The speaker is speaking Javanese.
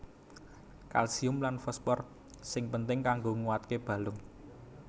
Kalsium lan fosfor sing penting kanggo nguataké balung